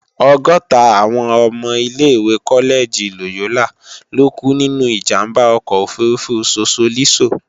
ọgọ́ta àwọn ọmọ ilé-ìwé kọ́lẹ́gì Lòyólà lókú nínú ìjàmbá ọkọ̀ òfurufú Sosolísò